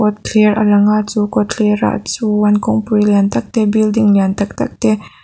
kawtler a langa chu kawtlerah chuan kawngpui lian tak te building lian tak tak te.